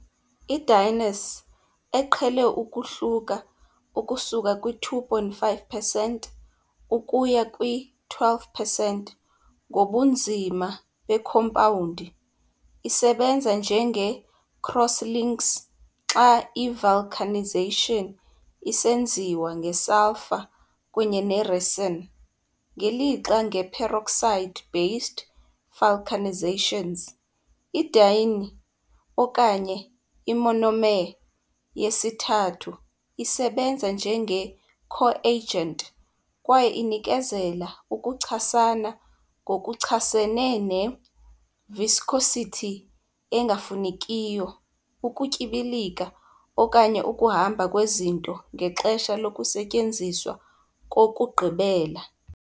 I-dienes, eqhele ukuhluka ukusuka kwi-2.5 percent ukuya kwi-12 percent ngobunzima bekhompawundi, isebenza njenge-cross-links xa i-vulcanization isenziwa ngesulfure kunye ne-resin, ngelixa nge-peroxide-based vulcanizations i-diene, okanye i-monomer yesithathu, isebenza njenge-coagent. kwaye inikezela ukuchasana ngokuchasene ne -viscosity engafunekiyo, ukutyibilika okanye ukuhamba kwezinto ngexesha lokusetyenziswa kokugqibela.